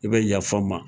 I bɛ yafa ma